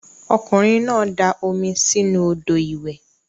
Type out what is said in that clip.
Okunrin na da omi si inu odo iwe.